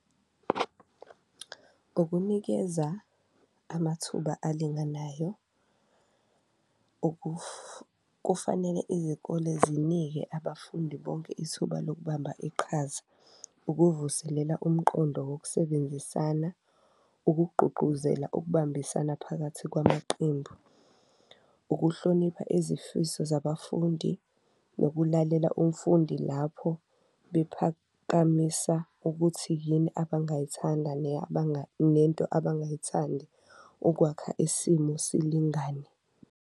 Ngokunikeza amathuba alinganayo kufanele izikole zinike abafundi bonke ithuba lokubamba iqhaza, ukuvuselela umqondo wokusebenzisana, ukugqugquzela ukubambisana phakathi kwamaqembu, ukuhlonipha izifiso zabafundi. Ukulalela umfundi lapho bephakamisa ukuthi yini abangayithanda nento abangayithandi ukwakha isimo silingane.